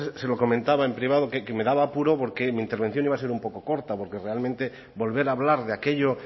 antes se lo comentaba en privado que me daba apuro porque mi intervención iba a ser un poco corta porque realmente volver a hablar de aquello